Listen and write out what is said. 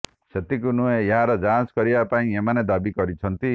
ସେତିକି ନୁହେଁ ଏହାର ଯାଞ୍ଚ କରିବା ପାଇଁ ଏମାନେ ଦାବି କରିଛନ୍ତି